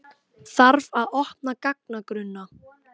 Þarf að opna gagnagrunna